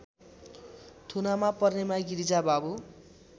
थुनामा पर्नेमा गिरिजाबाबु